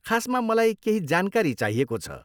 खासमा मलाई केही जानकारी चाहिएको छ।